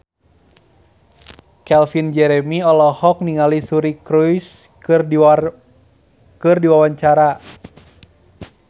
Calvin Jeremy olohok ningali Suri Cruise keur diwawancara